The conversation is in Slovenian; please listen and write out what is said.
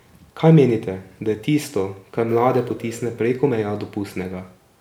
Kaj menite, da je tisto, kar mlade potisne preko meja dopustnega?